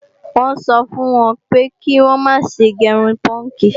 Wọ́n sọ fún wọn pé kí wọ́n má ṣe gé irun púùnkì